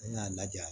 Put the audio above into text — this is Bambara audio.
N'a lajɛ